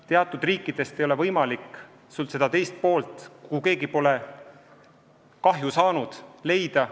Teatud riikidest ei ole võimalik seda teist poolt, kui keegi pole kahju saanud, leida.